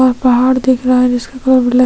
और पहाड़ दिख रहा है जिसके --